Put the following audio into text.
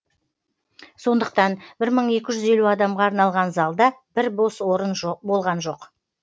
сондықтан бір мың екі жүз елу адамға арналған залда бір бос орын болған жоқ